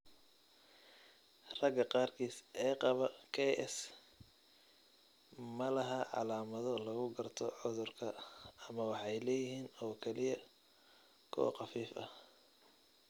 Ragga qaarkiis ee qaba KS ma laha calaamado lagu garto cudurka ama waxay leeyihiin oo kaliya kuwo khafiif ah.